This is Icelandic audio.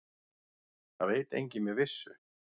Það veit enginn með vissu.